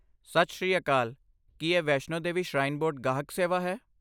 ਸਤਿ ਸ੍ਰੀ ਅਕਾਲ! ਕੀ ਇਹ ਵੈਸ਼ਨੋ ਦੇਵੀ ਸ਼ਰਾਈਨ ਬੋਰਡ ਗਾਹਕ ਸੇਵਾ ਹੈ?